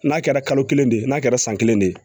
N'a kɛra kalo kelen de ye n'a kɛra san kelen de ye